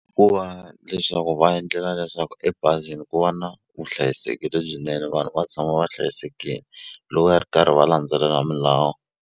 Ku va leswaku va endlela leswaku ebazini ku va na vuhlayiseki lebyinene vanhu va tshama va hlayisekini loko ya ri karhi va landzelela milawu.